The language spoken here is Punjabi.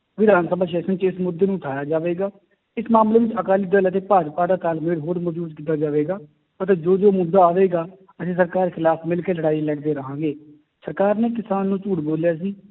ਵਿਧਾਨ ਸਭਾ session 'ਚ ਇਸ ਮੁੱਦੇ ਨੂੰ ਉਠਾਇਆ ਜਾਵੇਗਾ, ਇਸ ਮਾਮਲੇ ਵਿੱਚ ਅਕਾਲੀ ਦਲ ਅਤੇ ਭਾਜਪਾ ਦਾ ਤਾਲਮੇਲ ਹੋਰ ਮਜ਼ਬੂਤ ਕੀਤਾ ਜਾਵੇਗਾ ਅਤੇ ਜੋ ਜੋ ਮੁੱਦਾ ਆਵੇਗਾ ਅਸੀਂ ਸਰਕਾਰ ਦੇ ਖਿਲਾਫ਼ ਮਿਲਕੇ ਲੜਾਈ ਲੜਦੇ ਰਹਾਂਗੇ ਸਰਕਾਰ ਨੇ ਕਿਸਾਨ ਨੂੰ ਝੂਠ ਬੋਲਿਆ ਸੀ